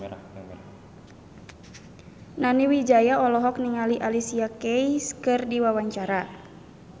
Nani Wijaya olohok ningali Alicia Keys keur diwawancara